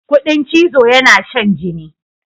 Ƙudin chizo yana shan jini.